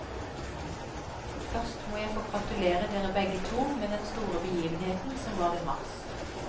Først må jeg få gratulere dere begge to med den store begivenheten som var i mars.